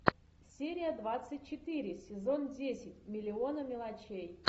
серия двадцать четыре сезон десять миллионы мелочей